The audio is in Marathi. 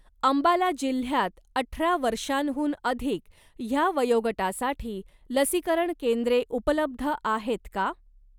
अंबाला जिल्ह्यात अठरा वर्षांहून अधिक ह्या वयोगटासाठी लसीकरण केंद्रे उपलब्ध आहेत का?